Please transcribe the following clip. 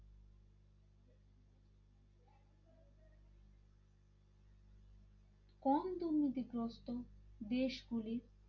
কম দুর্নীতিগ্রস্ত দেশগুলির